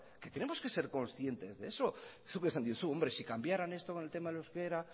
que tenemos que ser conscientes de eso zuk esan diozu hombre si cambiaran esto con el tema del euskera